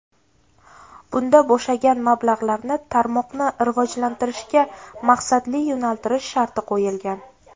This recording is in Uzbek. Bunda bo‘shagan mablag‘larni tarmoqni rivojlantirishga maqsadli yo‘naltirish sharti qo‘yilgan.